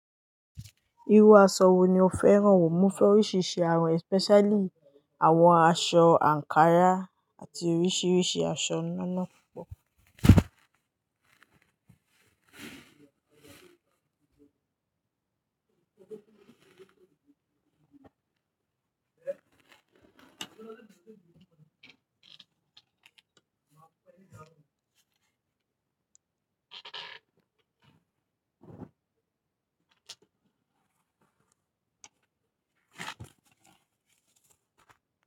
Irú aṣọ wo ni o fẹ́ràn wò? Mo fẹ́ oríṣiríṣi àwọn especially àwọn aṣọ ankara àti oríṣiríṣi aṣọ ńlánla púpọ̀.